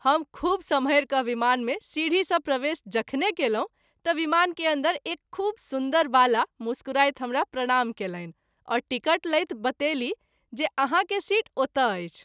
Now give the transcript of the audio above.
हम खूब सम्हरि क’ विमान के सीढी सँ प्रवेश जखने कएलहुँ त’ विमानके अन्दर एक खूब सुन्दर बाला मुस्कुराइत हमरा प्रणाम कएलनि और टिकट लैत बतेलीह जे आहाँ के सीट ओतय अछि।